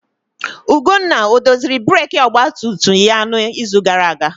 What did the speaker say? Ugonna odoziri breeki ọgba tum tum ya n'izu gara aga?